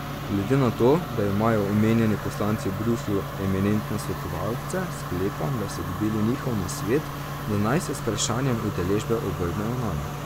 Glede na to, da imajo omenjeni poslanci v Bruslju eminentne svetovalce, sklepam, da so dobili njihov nasvet, da naj se z vprašanjem udeležbe obrnejo nanj.